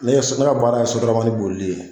Ne ye SOTRAMA baara ye SOTRAMAni bolili ye.